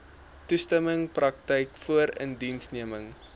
toestemming praktyk voorindiensneming